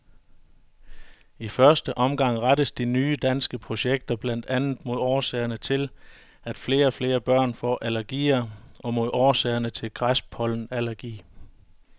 I første omgang rettes de nye danske projekter blandt andet mod årsagerne til, at flere og flere børn får allergier og mod årsagerne til græspollenallergi.